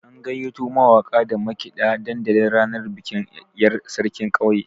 An gayyato mawaka da makiɗa dandali ranar bikin yar' sarkin ƙauyen.